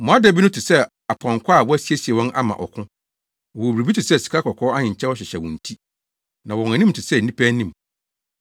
Mmoadabi no te sɛ apɔnkɔ a wɔasiesie wɔn ama ɔko. Wɔwɔ biribi te sɛ sikakɔkɔɔ ahenkyɛw hyehyɛ wɔn ti. Na wɔn anim te sɛ nnipa anim.